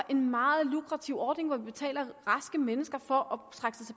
en meget lukrativ ordning hvor vi betaler raske mennesker for